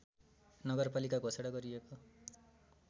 नगरपालिका घोषणा गरिएको